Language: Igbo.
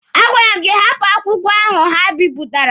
A gwara m gị hapụ akwụkwọ ahụ ha bipụtara!